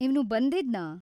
ಇವ್ನು ಬಂದಿದ್ನಾ?